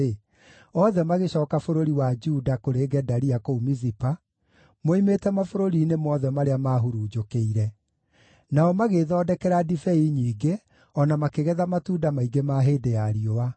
othe magĩcooka bũrũri wa Juda kũrĩ Gedalia kũu Mizipa, moimĩte mabũrũri-inĩ mothe marĩa maahurunjũkĩire. Nao magĩĩthondekera ndibei nyingĩ, o na makĩgetha matunda maingĩ ma hĩndĩ ya riũa.